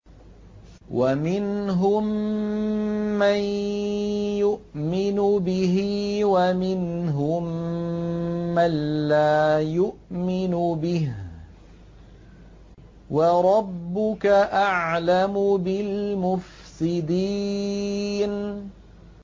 وَمِنْهُم مَّن يُؤْمِنُ بِهِ وَمِنْهُم مَّن لَّا يُؤْمِنُ بِهِ ۚ وَرَبُّكَ أَعْلَمُ بِالْمُفْسِدِينَ